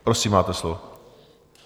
Prosím, máte slovo.